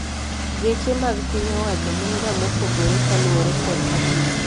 Geche mag piny owacho gin ga mopogore kaluore kod apis